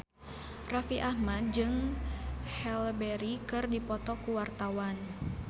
Raffi Ahmad jeung Halle Berry keur dipoto ku wartawan